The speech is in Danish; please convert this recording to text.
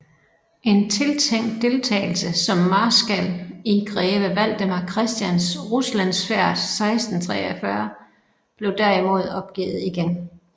En tiltænkt deltagelse som marskal i greve Valdemar Christians Ruslandsfærd 1643 blev derimod opgivet igen